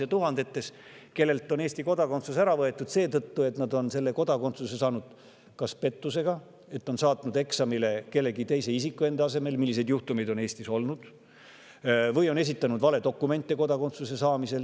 kellelt on Eesti kodakondsus ära võetud seetõttu, et nad on selle saanud pettusega, on saatnud eksamile kellegi teise enda asemel – selliseid juhtumeid on Eestis olnud –, või esitanud kodakondsuse saamiseks valedokumente.